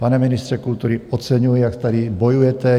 Pane ministře kultury, oceňuji, jak tady bojujete.